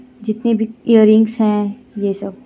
जितने भी एअररिंग्स हे ये सब.